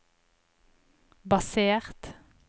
basert